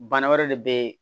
Bana wɛrɛ de bɛ yen